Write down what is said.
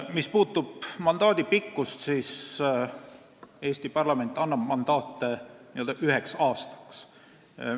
Mis puudutab mandaadi pikkust, siis Eesti parlament annab mandaate üheks aastaks.